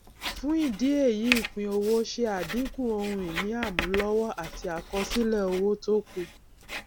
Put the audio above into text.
fún ìdí èyí ìpínowó ṣe àdínkù ohun ìní àmúlọwọ àti àkọsílẹ owó tókù